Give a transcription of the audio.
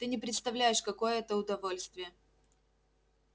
ты не представляешь какое это удовольствие